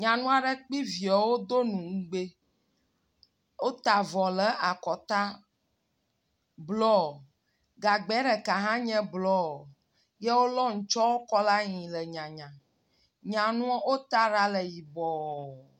Nyanua ɖe kple via wodo nu nugbi. Wota avɔ le akɔta blɔ. Gagbea ɖeka hã nye blɔ. Ye wolɔ ŋtsɔwo kɔ ɖe anyi le nyanya.